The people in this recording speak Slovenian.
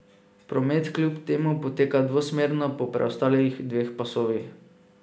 Promet kljub temu poteka dvosmerno po preostalih dveh pasovih.